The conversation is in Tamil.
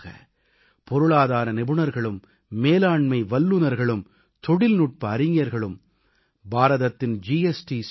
கண்டிப்பாக பொருளாதார நிபுணர்களும் மேலாண்மை வல்லநர்களும் தொழில்நுட்ப அறிஞர்களும் பாரதத்தின் ஜி